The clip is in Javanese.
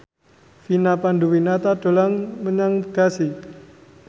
Vina Panduwinata dolan menyang Bekasi